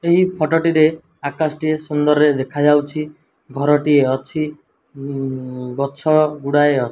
ଏହି ଫଟୋ ଟିରେ ଆକାଶ ଟିଏ ସୁନ୍ଦରରେ ଦେଖାଯାଉଛି ଘର ଟିଏ ଅଛି ଉଁ ଗଛ ଗୁଡ଼ାଏ ଅ --